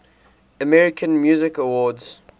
american music awards